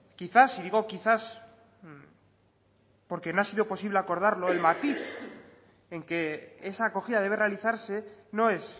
quizás y digo quizás porque no ha sido acordarlo el matiz en que esa acogida debe realizarse no es